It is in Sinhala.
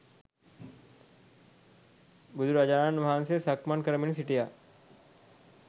බුදුරජාණන් වහන්සේ සක්මන් කරමින් සිටියා